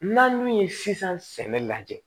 N'an dun ye sisan sɛnɛ lajɛ